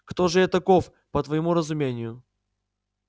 кто же я таков по твоему разумению